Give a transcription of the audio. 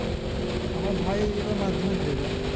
আমার ভাই এবার madhyamik দেবে